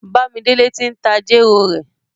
Bàmídélé tí n ta jèrò rẹ̀.